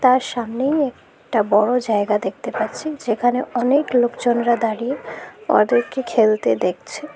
তার সামনেই একটা বড়ো জায়গা দেখতে পাচ্ছি যেখানে অনেক লোকজনরা দাঁড়িয়ে অদেরকে খেলতে দেখছে।